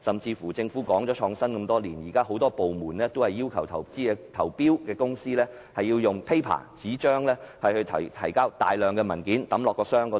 此外，政府推動創新多年，但現時很多部門仍然要求參與投標的公司用紙張提交大量文件，投入投標箱。